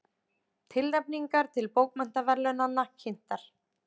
Tilnefningar til bókmenntaverðlaunanna kynntar